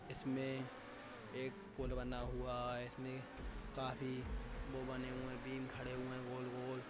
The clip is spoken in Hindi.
इसमें एक पुल बना हुआ है इसमे काफी वो बने हुए है बीम खड़े हुए है गोल-गोल।